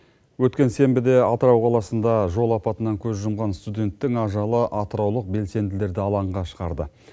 өткен сенбіде атырау қаласында жол апатынан көз жұмған студенттің ажалы атыраулық белсенділерді алаңға шығарды